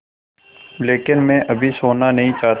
लेकिन मैं अभी सोना नहीं चाहता